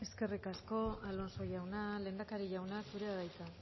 eskerrik asko alonso jauna lehendakari jauna zurea da hitza